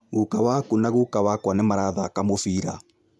Guka waku na guka wakwa nĩ marathaka mũbira